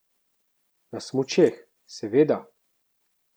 Na smučeh, seveda!